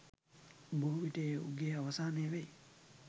බොහෝ විට ඒ උගේ අවසානය වෙයි.